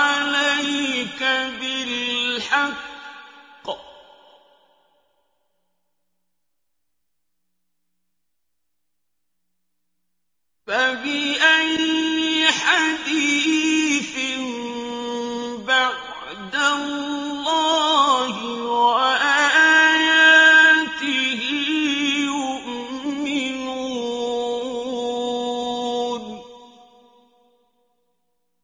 عَلَيْكَ بِالْحَقِّ ۖ فَبِأَيِّ حَدِيثٍ بَعْدَ اللَّهِ وَآيَاتِهِ يُؤْمِنُونَ